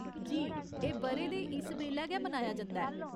जी, एह् ब'रे दे इस बेल्लै गै मनाया जंदा ऐ।